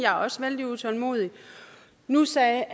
også vældig utålmodig nu sagde